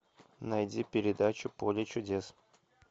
найди передачу поле чудес